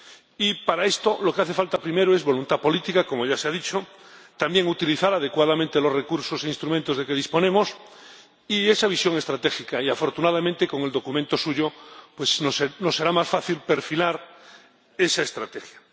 Y, para esto, lo que hace falta primero es voluntad política —como ya se ha dicho—, también utilizar adecuadamente los recursos e instrumentos de que disponemos y esa visión estratégica y, afortunadamente, con su documento nos será más fácil perfilar esa estrategia.